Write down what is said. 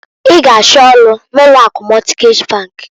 I g'achọ ọlụ n'ụlọ akụ Mọtgej bankǃ